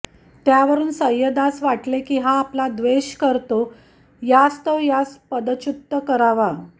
त्यावरून सय्यदास वाटलें की हा आपला द्वेष करतो यास्तव यास पदच्युत करावा